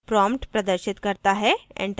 prompt प्रदर्शित करता है enter a word: